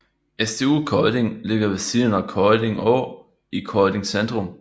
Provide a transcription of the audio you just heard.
SDU Kolding ligger ved siden af Kolding Å i Kolding centrum